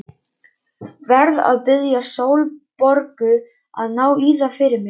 Verð að biðja Sólborgu að ná í það fyrir mig.